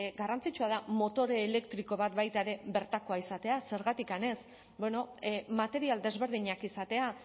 garrantzitsua da motore elektriko bat baita ere bertakoa izatea zergatik ez bueno material desberdinak izatea